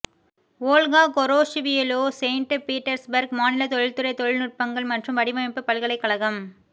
Olga கொரோஷிவிலோ Saint Petersburg மாநில தொழில்துறை தொழில்நுட்பங்கள் மற்றும் வடிவமைப்பு பல்கலைக்கழகம்